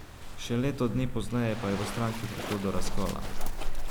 Še leto dni pozneje pa je v stranki prišlo do razkola.